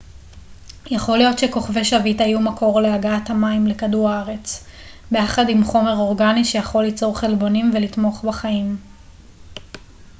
יכול להיות שכוכבי שביט היו מקור להגעת מים לכדור הארץ ביחד עם חומר אורגני שיכול ליצור חלבונים ולתמוך בחיים